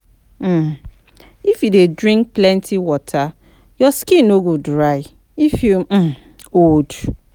um If you dey drink plenty water, your skin no go dry if you um old